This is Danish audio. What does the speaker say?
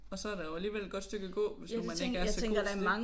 Og så er der jo alligevel et godt stykke at gå hvis nu man ikke er så god til det